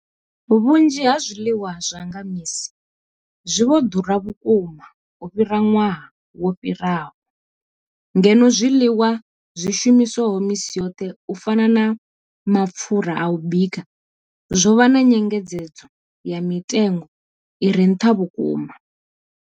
Vhunzhi ha zwiḽiwa zwa nga misi zwi vho ḓura vhukuma u fhira ṅwaha wo fhiraho, ngeno zwiḽiwa zwi shumiswaho misi yoṱhe u fana na mapfhura a u bika zwo vha na nyengedzedzo ya mitengo i re nṱha vhukuma.